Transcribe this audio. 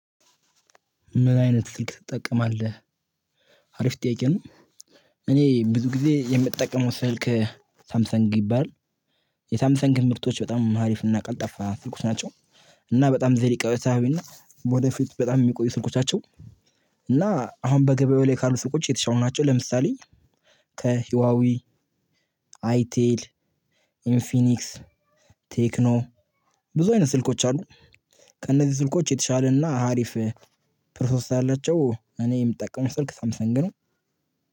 ምን አይነት ስልክ ትጠቀማለህ? አሪፍ ጥያቄ ነው። እኔ ብዙ ጊዜ የምጠቀመው ስልክ ሳምሰንግ ይባላል። የሳምሰንግ ምርቶች በጣም አሪፍና ቀልጣፋ ስልኮች ናቸው። እና በጣም ዘዴ ቀጥታዊና ወደ ፊት በጣም የሚቆዩ ስልኮች። እና አሁን በገበያው ላይ ካሉት ስልኮች የተሻሉ ናቸው። ለምሳሌ ከህዋዌ አይቴል ኢንፊኒክስ ቴክኖ ብዙ አይነት ስልኮች አሉ። ከእነዚህ ስልኮች የተሻለና አሪፍ ፕሮሰስ ስላላቸው እኔ የምጠቀመው ስልክ ሳምሰን ግን